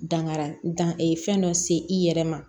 Dankara dan fɛn dɔ se i yɛrɛ ma